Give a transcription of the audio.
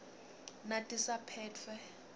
natisaphetfwe